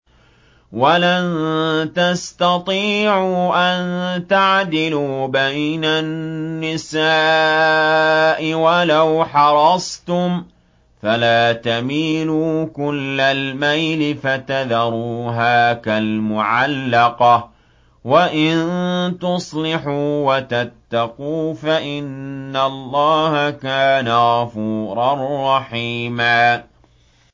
وَلَن تَسْتَطِيعُوا أَن تَعْدِلُوا بَيْنَ النِّسَاءِ وَلَوْ حَرَصْتُمْ ۖ فَلَا تَمِيلُوا كُلَّ الْمَيْلِ فَتَذَرُوهَا كَالْمُعَلَّقَةِ ۚ وَإِن تُصْلِحُوا وَتَتَّقُوا فَإِنَّ اللَّهَ كَانَ غَفُورًا رَّحِيمًا